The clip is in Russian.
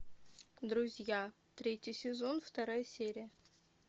друзья третий сезон вторая серия